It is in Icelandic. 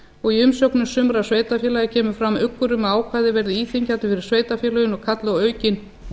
og í umsögnum sumra sveitarfélaga kemur fram uggur um að ákvæðið verði íþyngjandi fyrir sveitarfélögin og kalli á aukin